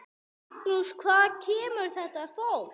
Magnús: Hvaðan kemur þetta fólk?